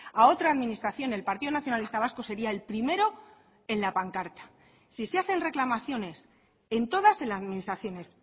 a otra administración el partido nacionalista vasco sería el primero en la pancarta sí se hacen reclamaciones en todas las administraciones